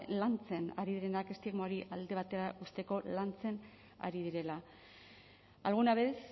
lantzen ari direnak estigma hori alde batera uzteko lantzen ari direla alguna vez